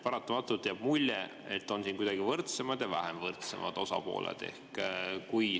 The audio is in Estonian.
Paratamatult jääb mulje, et siin on kuidagi võrdsemad ja vähem võrdsed osapooled.